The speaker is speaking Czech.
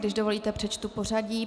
Když dovolíte, přečtu pořadí.